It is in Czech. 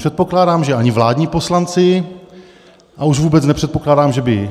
Předpokládám, že ani vládní poslanci, a už vůbec nepředpokládám, že by